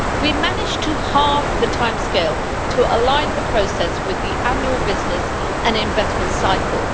We have managed to halve the timescale to align the process with the annual business and investment cycle.